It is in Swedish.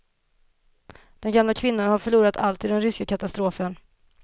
Den gamla kvinnan har förlorat allt i den ryska katastrofen.